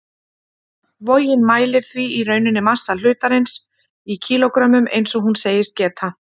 Vogin mælir því í rauninni massa hlutarins í kílógrömmum, eins og hún segist gera.